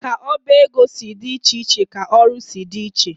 Ka oba ego si dị iche iche ka ọrụ si dị iche.